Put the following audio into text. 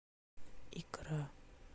икра